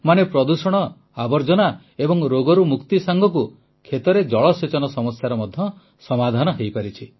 ମାନେ ପ୍ରଦୂଷଣ ଆବର୍ଜନା ଏବଂ ରୋଗରୁ ମୁକ୍ତି ସାଙ୍ଗକୁ କ୍ଷେତରେ ଜଳସେଚନ ସମସ୍ୟାର ମଧ୍ୟ ସମାଧାନ ହୋଇପାରିଛି